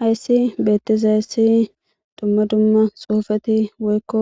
hayssi beettizaayssi dumma dumma xuufati woykko